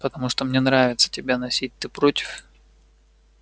потому что мне нравится тебя носить ты против